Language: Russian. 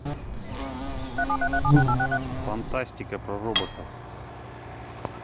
фантастика про роботов